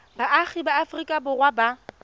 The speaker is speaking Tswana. baagi ba aforika borwa ba